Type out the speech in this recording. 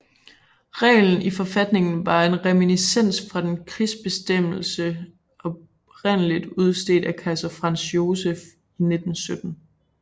Reglen i forfatningen var en reminiscens fra en krigsbestemmelse oprindelig udstedt af kejser Franz Joseph fra 1917